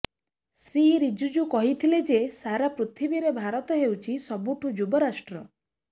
ଶ୍ରୀ ରିଜିଜୁ କହିଥିଲେ ଯେ ସାରା ପୃଥିବୀରେ ଭାରତ ହେଉଛି ସବୁଠୁ ଯୁବ ରାଷ୍ଟ୍ର